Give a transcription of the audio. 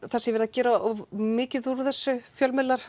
það sé verið að gera of mikið úr þessu fjölmiðlar